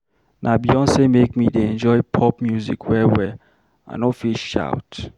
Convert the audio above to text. Na Beyonce make me dey enjoy Pop music well-well, I no fit shout.